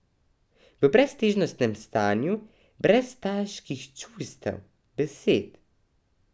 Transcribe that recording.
V breztežnostnem stanju, brez težkih čustev, besed.